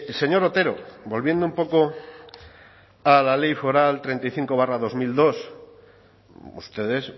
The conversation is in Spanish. señor otero volviendo un poco a la ley foral treinta y cinco barra dos mil dos ustedes